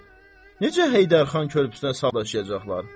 Necə Heydər xan körpüsünə salaşayacaqlar?